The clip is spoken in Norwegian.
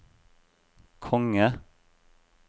konge